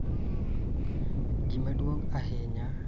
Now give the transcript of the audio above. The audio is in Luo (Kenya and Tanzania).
Gima duong� ahinya e nyasi mar nyuolna